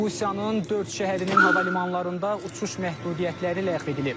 Rusiyanın dörd şəhərinin hava limanlarında uçuş məhdudiyyətləri ləğv edilib.